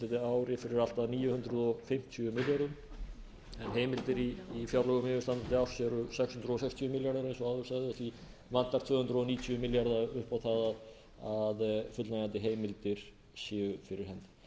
yfirstandandi ári fyrir allt að níu hundruð fimmtíu milljörðum en heimildir í fjárlögum yfirstandandi árs eru sex hundruð sextíu milljarðar eins og áður sagði og því vantar tvö hundruð níutíu milljarða upp á það að fullnægjandi heimildir séu fyrir hendi málið er